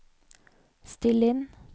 still inn